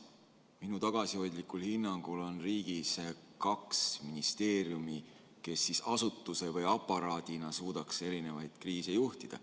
Minu tagasihoidlikul hinnangul on riigis kaks ministeeriumi, kes asutuse või aparaadina suudaks erinevaid kriise juhtida.